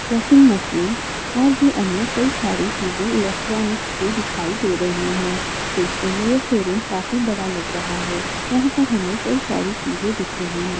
Washing machine और भी अन्य कई सारी चीजे इलेक्ट्रॉनिक्स की दिखाई दे रही हैं देखने में ये शोरूम काफी बड़ा लग रहा है यहाँ पर हमें कई सारी चीजे दिख रही हैं।